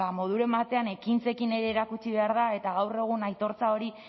moduren batean ekintzekin ere erakutsi behar da eta gaur egun aitortza hori